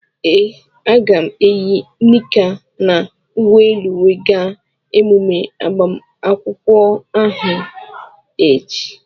Ee, aga m eyi nika na uwe elu wee gaa emume agbamakwụkwọ ahu echi.